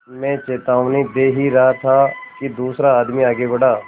मैं चेतावनी दे ही रहा था कि दूसरा आदमी आगे बढ़ा